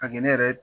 A kɛ ne yɛrɛ